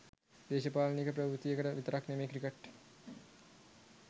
දේශපාලනික ප්‍රවෘත්තියකට විතරක් නෙමෙයි ක්‍රිකට්